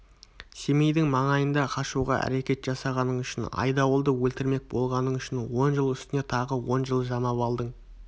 семейдің маңайында қашуға әрекет жасағаның үшін айдауылды өлтірмек болғаның үшін он жыл үстіне тағы он жыл жамап алдың